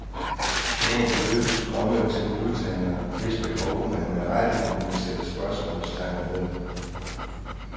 Store beløb strømmede til modtagere, hvis behov man med rette kunne sætte spørgsmålstegn ved.